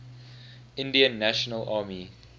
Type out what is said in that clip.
indian national army